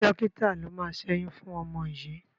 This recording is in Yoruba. Ṣé dọ́kítà ló máa ṣẹ́yún fún ọmọ yìí?